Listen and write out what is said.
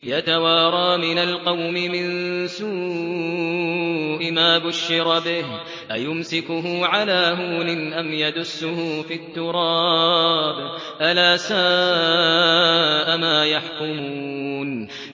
يَتَوَارَىٰ مِنَ الْقَوْمِ مِن سُوءِ مَا بُشِّرَ بِهِ ۚ أَيُمْسِكُهُ عَلَىٰ هُونٍ أَمْ يَدُسُّهُ فِي التُّرَابِ ۗ أَلَا سَاءَ مَا يَحْكُمُونَ